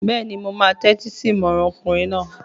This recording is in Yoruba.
Bẹ́ẹ̀ni, mo máa tẹ́tí sí ìmọràn ọkùnrin náà